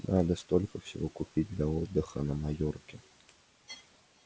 надо столько всего купить для отдыха на майорке